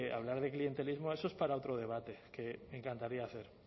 hablar de clientelismo eso es para otro debate que me encantaría hacer